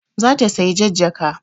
Za ta saya jan jaka